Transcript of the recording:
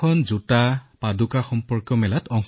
তাত জোতাৰ প্ৰদৰ্শনী আছিল